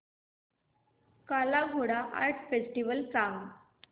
काला Ghoda art festival सांग